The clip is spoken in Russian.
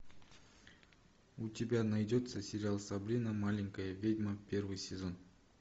у тебя найдется сериал сабрина маленькая ведьма первый сезон